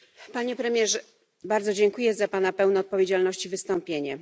Panie premierze! Bardzo dziękuję za pana pełne odpowiedzialności wystąpienie.